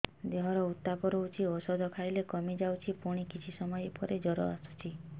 ଦେହର ଉତ୍ତାପ ରହୁଛି ଔଷଧ ଖାଇଲେ କମିଯାଉଛି ପୁଣି କିଛି ସମୟ ପରେ ଜ୍ୱର ଆସୁଛି